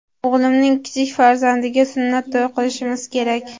O‘g‘limning kichik farzandiga sunnat to‘y qilishimiz kerak.